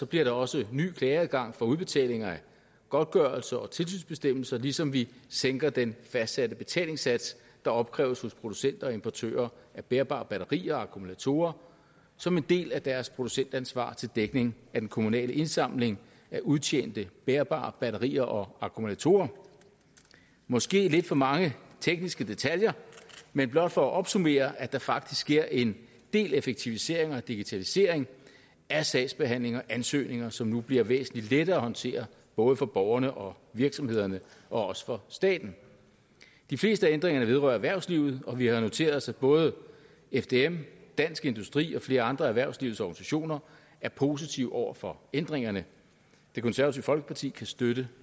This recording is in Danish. bliver der også en ny klageadgang for udbetaling af godtgørelse og tilsynsbestemmelser ligesom vi sænker den fastsatte betalingssats der opkræves hos producenter og importører af bærbare batterier og akkumulatorer som en del af deres producentansvar til dækning af den kommunale indsamling af udtjente bærbare batterier og akkumulatorer måske lidt for mange tekniske detaljer men blot for at opsummere at der faktisk sker en del effektivisering og digitalisering af sagsbehandling og ansøgninger som nu bliver væsentlig lettere at håndtere både for borgerne og virksomhederne og også for staten de fleste af ændringerne vedrører erhvervslivet og vi har noteret os at både fdm dansk industri og flere andre af erhvervslivets organisationer er positive over for ændringerne det konservative folkeparti kan støtte